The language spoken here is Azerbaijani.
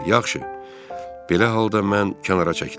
Yaxşı, belə halda mən kənara çəkilirəm.